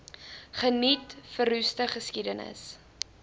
geniet verroeste geskiedenis